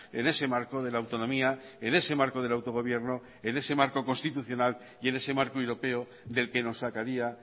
en ese marco de la autonomía en ese marco del autogobierno en ese marco constitucional y en ese marco europeo del que nos sacaría